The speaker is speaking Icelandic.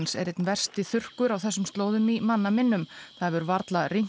er einn versti þurrkur á þessum slóðum í manna minnum það hefur varla rignt